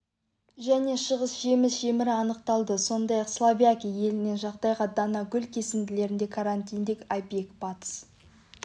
және шығыс жеміс жемірі анықталды сондай-ақ словакия елінен жағдайда дана гүл кесінділерінде карантиндік объект батыс